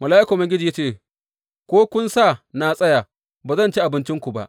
Mala’ikan Ubangiji ya ce, Ko kun sa na tsaya, ba zan ci abincinku ba.